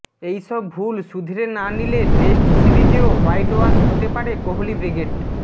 এই সব ভুল শুধরে না নিলে টেস্ট সিরিজেও হোয়াইটওয়াশ হতে পারে কোহালি ব্রিগেড